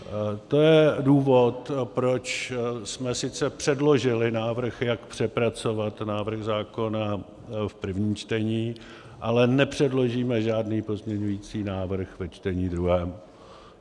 To je důvod, proč jsme sice předložili návrh, jak přepracovat návrh zákona v prvním čtení, ale nepředložíme žádný pozměňující návrh ve čtení druhém.